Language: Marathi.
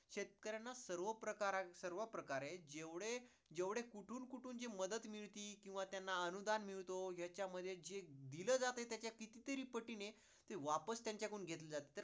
शेतकऱ्यांना सर्व प्रकारे जेवढे, जेवढे कुठून कुठून जी मदत मिळती किंवा त्यांना अनुदान्न मिळतो, ह्यांच्यामध्ये जे दिल जातंय त्याच्या किती तरी पटीने, ते वापस त्यांच्याकडून घेतल जातंय.